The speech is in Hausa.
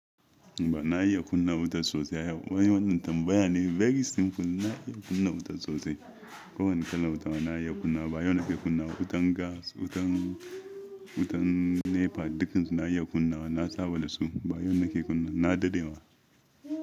Ba na iya kunna wuta sosai. Wai wannan tambaya ne very simple. Na iya kunna wuta sosai. Ko wani kalan wuta na iya kunna. Ba yau nake kunna wutan gas, wutan, wutan NEPA, dukansu na iya kunna. Na saba da su. Ba yau nake kunna, na dade wa.